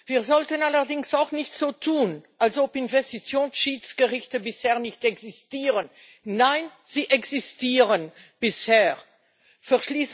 Wir sollten allerdings auch nicht so tun, als ob Investitionsschiedsgerichte bisher nicht existieren. Nein, sie existieren schon.